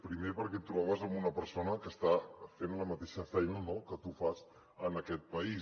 primer perquè et trobaves amb una persona que està fent la mateixa feina que tu fas en aquest país